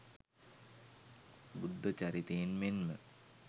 බුද්ධ චරිතයෙන් මෙන්ම